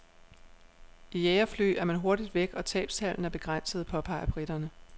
I jagerfly er man hurtigt væk, og tabstallene er begrænsede, påpeger briterne.